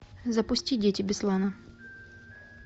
запусти дети беслана